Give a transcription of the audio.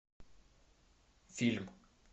фильм